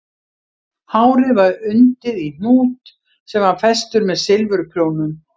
Hárið var undið í hnút sem var festur með silfurprjónum